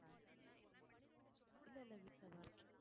இல்லை இல்லை வீட்டுலதான் இருக்கேன்